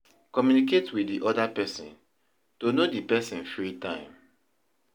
Communicate with di other person to know di person free time